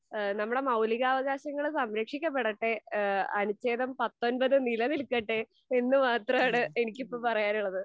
ഇഹ് നമ്മുടെ മൗലികാവകാശങ്ങൾ സംരക്ഷിക്കപ്പെടട്ടെ, ഏഹ് അനുഛേദം പത്തൊൻപത് നില നിൽക്കട്ടെ, എന്ന മാത്രാണ് എനിക്കിപ്പോ പറയാനുള്ളത്.